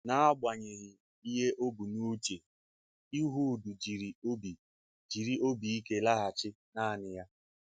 N’agbanyeghị ihe ọ bụ n’uche, Ịhud jiri obi jiri obi ike laghachi nanị ya.